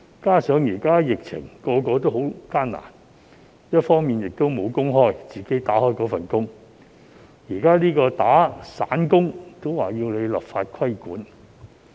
加上現時在疫情下，大家也十分艱難，一直任職的工作無工開，現在連做散工也要立法規管？